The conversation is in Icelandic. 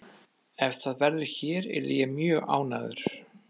Ef það verður hér yrði ég mjög ánægður.